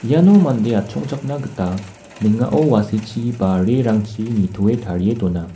iano mande atchongchakna gita ning·ao wa·sechi ba reerangchi nitoe tarie dona.